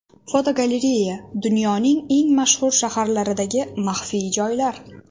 Fotogalereya: Dunyoning eng mashhur shaharlaridagi maxfiy joylar.